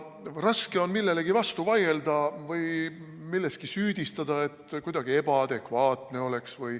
Raske on millelegi vastu vaielda või süüdistada, et nagu kuidagi ebaadekvaatne oleks.